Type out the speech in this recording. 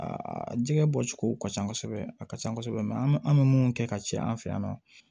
Aa jɛgɛ bɔcogo ka ca kosɛbɛ a ka ca kosɛbɛ mɛ an bɛ mun kɛ ka ci an fɛ yan nɔ